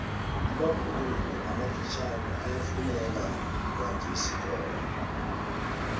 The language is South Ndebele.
amabhurugu amafitjhani ayafuneka kwanjesi khona